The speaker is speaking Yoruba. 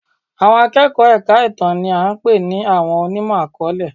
Àwọn akẹ́kọ̀ọ́ èka ìtàn ni a pè ní àwọn onímọ̀-akọọlẹ.